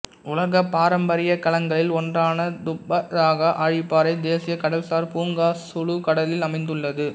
உலகப் பாரம்பரியக் களங்களில் ஒன்றான துப்பாதகா ஆழிப்பாறை தேசிய கடல்சார் பூங்கா சுலு கடலில் அமைந்துள்ளது